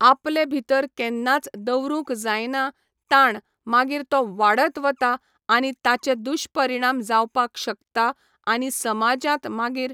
आपले भितर केन्नाच दवरूंक जायना ताण मागीर तो वाडत वता आनी ताचे दुशपरिणाम जावपाक शकता आनी समाजांत मागीर